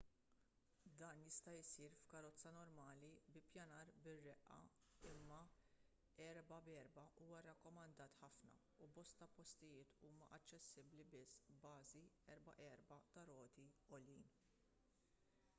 dan jista' jsir f'karozza normali b'ippjanar bir-reqqa imma 4x4 huwa rrakkomandat ħafna u bosta postijiet huma aċċessibbli biss b'bażi 4x4 ta' roti għoljin